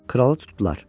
Kralı tutdular.